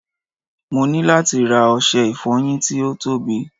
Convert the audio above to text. mo ni lati ra ọsẹ ìfoyin ti o tobi